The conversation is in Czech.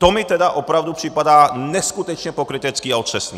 To mi tedy opravdu připadá neskutečně pokrytecký a otřesný!